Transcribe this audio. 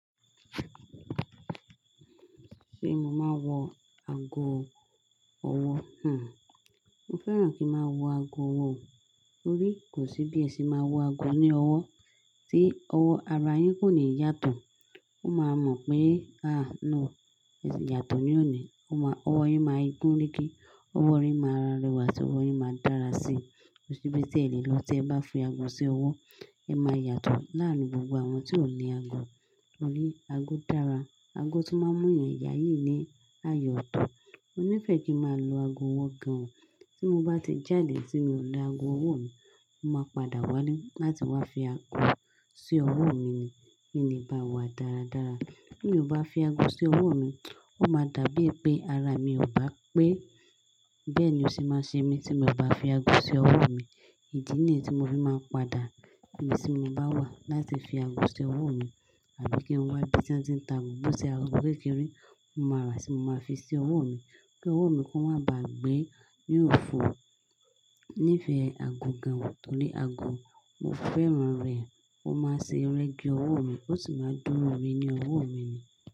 Ṣé mo máa wọ ago ọwọ́? Hmm. Mo fẹ́ràn kí n ma wọ ago ọwọ́ oo. Torí kò sí bí ẹ sì máa wọ ago ní ọwọ́ tí ọwọ́ ara yín kò ní yàtọ̀. Ó máa mọ̀ pé, ah no, èsì yàtọ̀ ní òní. Ó ma-- ọwọ́ yín máa gunregr, ọwọ́ rẹ máa rẹwà, ọwọ́ yín máa dára sí. Kò sí bí tí e le lọ tí ẹ bá fi ago sí ọwọ́. Ẹ máa yàtọ̀ láàárin gbogbo àwọn tí ò ní ago. Torí ago dára, ago tún máa ń mú ènìyàn yáyì ní ààyò ọ̀tọ̀. Mo nífẹ̀ẹ́ kí máa lo ago ọwọ́ gan. Tí mo bá ti jáde tí mi ò lo ago ọwọ́ mi, mo máa padà wá lá-- láti wá fi ago sí ọwọ́ mi ni. Kí n le bá wà dáradára tí mi ò bá fi aago sí ọwọ́ mi, ó ma dà bí pé ara mi ò bá pé. Bẹ́ẹ̀ni ó sì máa ṣe mí tí mo bá fi ago sí ọwọ́ mi. Ìdí nìyí tí mo fi máa ń padà ibi tí mo bá wà láti fi ago sí ọwọ́ mi. Àbí kí n wá ibi tí wọ́n ti ń ta àgbo bó ṣe aago kékeré, mo máa ràá, tí mo máa fi sí ọwọ́ mi. Kí ọwọ́ mi kó má bà gbé ní òfo. Nífẹ̀ẹ́ ago gan torí ago, mo fẹ́ràn rẹ̀. Ó maa ń ṣe rẹ́gí ọwọ́ mi, ó sì ma dúró rẹ̀ ní ọwọ́ mi.